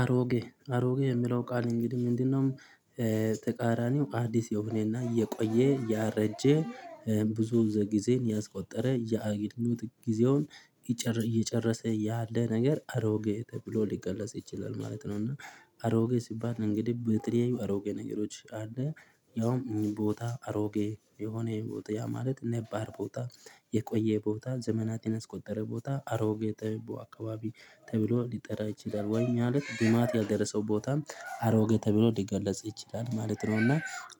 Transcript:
አሮጌ አሮጌ የሚለው ቃል እንግዲህ ምንድነው? ተቃራኒው አዲስ የሆነና የቆየ ያረጀ ብዙ ጊዜን ያስቆጠረ የአገልግሎት ጊዜውን እየጨረሰ ያለ ነገር አሮጌ ተብሎ ሊገለጽ ይችላል ማለት ነው። እና አሮጌ ሲባል እንግዲህ ብተለያዩ አሮጌ ነገሮች አለ ያውም ቦታ አሮጌ የሆነ የሆነ ቦታ ያ ማለት ነባር ቦታ የቆየ ቦታ ዘመናት የስቆጠረ ቦታ አሮጌ ተብሎ አካባቢ ተብሎ ሊጠራ ይችላል ወይ ማለት ልማት ያደረሰው ቦታም አሮጌ ተብሎም ሊገለጽ ይችላል ማለት ነውና።